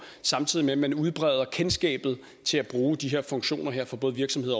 samtidig med at man udbreder kendskabet til at bruge de her funktioner for både virksomheder